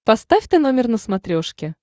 поставь тномер на смотрешке